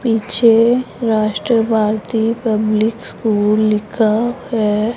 पीछे Rashtravadi public school लिखा है।